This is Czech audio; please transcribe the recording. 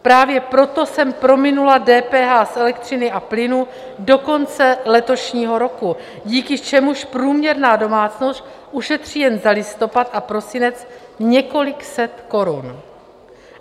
Právě proto jsem prominula DPH z elektřiny a plynu do konce letošního roku, díky čemuž průměrná domácnost ušetří jen za listopad a prosinec několik set korun.